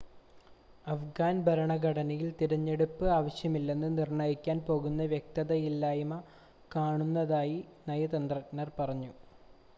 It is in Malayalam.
അഫ്ഗാൻ ഭരണഘടനയിൽ തിരഞ്ഞെടുപ്പ് ആവശ്യമല്ലെന്ന് നിർണ്ണയിക്കാൻ പോന്ന വ്യക്തതയില്ലായ്‌മ കാണുന്നതായി നയതന്ത്രജ്ഞർ പറഞ്ഞു